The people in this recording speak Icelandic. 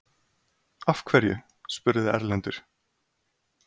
Af hverju? spurði Erlendur.